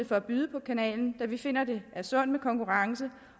for at byde på kanalen da vi finder det er sundt med konkurrence